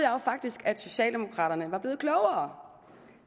jo faktisk at socialdemokraterne var blevet klogere